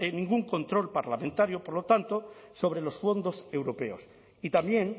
ningún control parlamentario por lo tanto sobre los fondos europeos y también